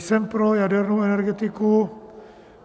Jsem pro jadernou energetiku.